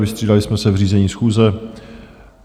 Vystřídali jsme se v řízení schůze.